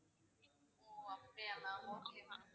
ஓ அப்படியா ma'am okay ma'am